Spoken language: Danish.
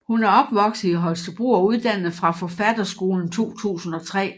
Hun er opvokset i Holstebro og uddannet fra Forfatterskolen 2003